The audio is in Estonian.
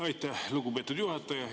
Aitäh, lugupeetud juhataja!